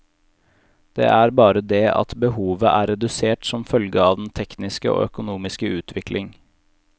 Det er bare det at behovet er redusert som følge av den tekniske og økonomiske utvikling.